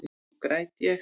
Nú græt ég.